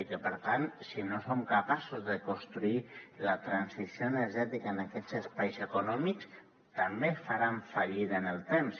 i per tant si no som capaços de construir la transició energètica en aquests espais econòmics també faran fallida en el temps